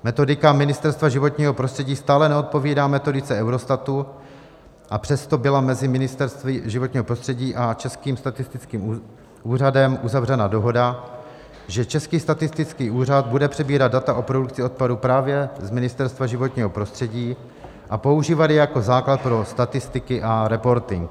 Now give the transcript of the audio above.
Metodika Ministerstva životního prostředí stále neodpovídá metodice Eurostatu, a přesto byla mezi Ministerstvem životního prostředí a Českým statistickým úřadem uzavřena dohoda, že Český statistický úřad bude přebírat data o produkci odpadu právě z Ministerstva životního prostředí a používat je jako základ pro statistiky a reporting.